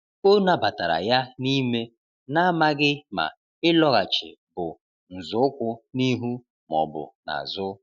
O nabatara ya n’ime, na-amaghị ma ịlọghachi bụ nzọụkwụ n’ihu ma ọ bụ n’azụ.